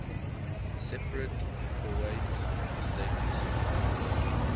separate powiat status